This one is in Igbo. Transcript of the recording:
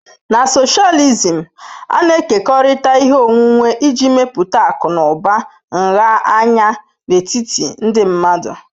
Na socialism, a na-ekekọrịta ihe onwunwe iji mepụta akụ na ụba nha anya n'etiti ndị mmadụ.